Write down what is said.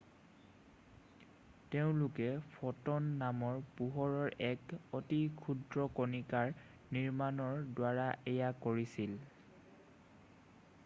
তেওঁলোকে ফ'টন নামৰ পোহৰৰ এক অতি ক্ষুদ্ৰ কণিকাৰ নিৰ্গমণৰ দ্বাৰা এয়া কৰিছিল